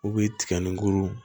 U bɛ tiga nin kuru